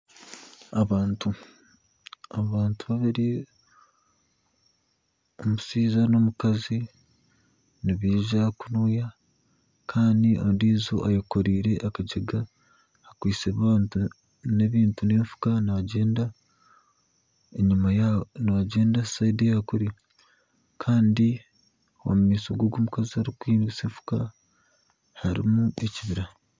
Abantu abari omushaija nomukazi nibaija kunuya Kandi ondiijo ayekoreire akagyega akwaitse ebintu nenfuuka nagyenda nagyenda orubaju orwakuri kandi omumaisho gomukazi orikuhingisa efuka harimu ekibira